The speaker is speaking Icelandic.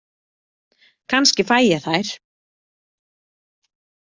Kannski fæ ég þær.